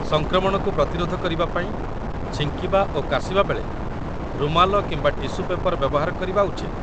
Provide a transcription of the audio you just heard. ସଂକ୍ରମଣକୁ ପ୍ରତିରୋଧ କରିବାପାଇଁ, ଛିଙ୍କିବା ଓ କାଶିବା ବେଳେ ରୁମାଲ କିମ୍ବା ଟିସୁ ପେପର ବ୍ୟବହାର କରିବା ଉଚିତ